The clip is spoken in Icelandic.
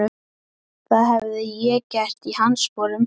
Það hefði ég gert í hans sporum.